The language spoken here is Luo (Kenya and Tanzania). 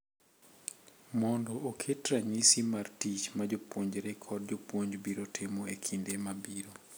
mondo oket ranyisi mar tich ma jopuonjre kod jopuonj biro timo e kinde mabiro.